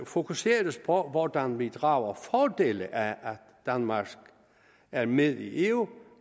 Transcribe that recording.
fokuseres på hvordan vi drager fordel af at danmark er med i eu